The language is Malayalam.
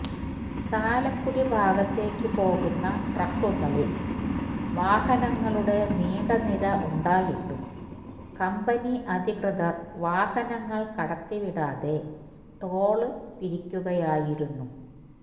ചാലക്കുടി ഭാഗത്തേക്ക് പോകുന്ന ട്രാക്കുകളില് വാഹനങ്ങളുടെ നീണ്ടനിര ഉണ്ടായിട്ടും കമ്പനി അധികൃതര് വാഹനങ്ങള് കടത്തിവിടാതെ ടോള് പിരിക്കുകയായിരുന്നു